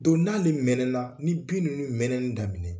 Don n'ale mɛnɛna, ni bin ninnu mɛnɛni daminɛ